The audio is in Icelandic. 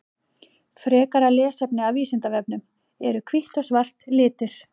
Frekara lesefni af Vísindavefnum: Eru hvítt og svart litir?